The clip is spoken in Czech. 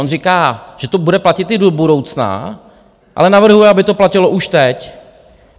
On říká, že to bude platit i do budoucna, ale navrhuje, aby to platilo už teď.